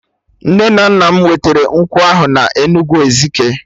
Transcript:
Nne na nna m wetere nkwụ ahụ na Enugwu Ezike